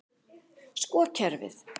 Sko kerfið.